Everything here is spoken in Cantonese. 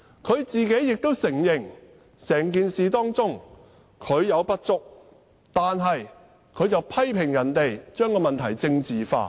她亦承認自己在整件事中有不足，但她卻批評別人把問題政治化。